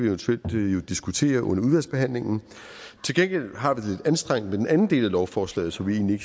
eventuelt diskutere under udvalgsbehandlingen til gengæld har vi det anstrengt med den anden del af lovforslaget som vi egentlig